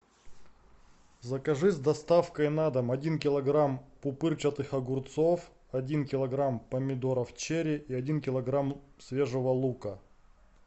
закажи с доставкой на дом один килограмм пупырчатых огурцов один килограмм помидоров черри и один килограмм свежего лука